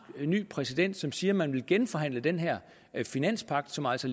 præsident som siger at man vil genforhandle den her finanspagt som altså